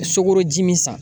Sukoroji min san